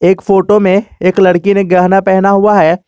एक फोटो में एक लड़की ने गहना पहना हुआ है।